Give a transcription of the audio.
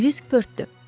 Kris pörtdü.